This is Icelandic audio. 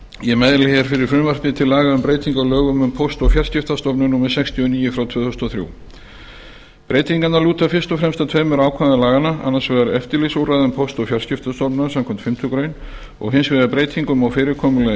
ég mæli hér fyrir frumvarpi til laga um breytingu á lögum um póst og fjarskiptastofnun númer sextíu og níu tvö þúsund og þrjú breytingarnar lúta fyrst og fremst að tveimur ákvæðum laganna annars vegar eftirlitsúrræðum póst og fjarskiptastofnunar samkvæmt fimmtu greinar og hins vegar breytingum á fyrirkomulagi